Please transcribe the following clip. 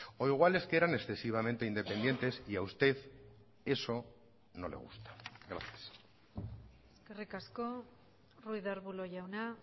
o igual es que eran excesivamente independientes y a usted eso no le gusta gracias eskerrik asko ruiz de arbulo jauna